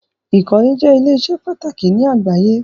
Ikọ́lẹ̀ jẹ̀ ilẹ̀-iṣẹ́ pàtàkì ni àgbàyé.